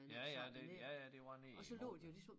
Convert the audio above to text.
Ja ja det ja ja det var ned i lort da